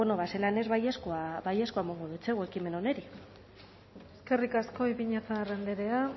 bueno ba zelan ez baiezkoa emango dotsagu ekimen honi eskerrik asko ipiñazar andrea